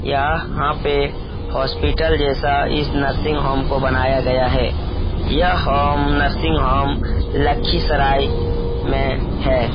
यहां पे हॉस्पिटल जैसा इस नर्सिंग होम को बनाया गया है यह होम नर्सिंग होम लखीसराय में है।